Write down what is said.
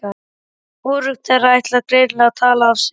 Hvorugt þeirra ætlar greinilega að tala af sér.